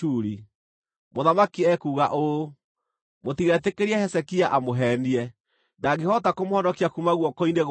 Mũthamaki ekuuga ũũ: Mũtigetĩkĩrie Hezekia amũheenie. Ndangĩhota kũmũhonokia kuuma guoko-inĩ gwakwa.